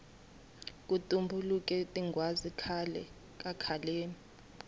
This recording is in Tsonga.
ku tumbuluke tinghwazi khale kakhaleni